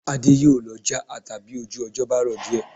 Adé yóò lọ já ata bí ojú ọjọ́ bá rọ̀ díẹ̀